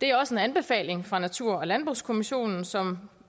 det er også en anbefaling fra natur og landbrugskommissionen som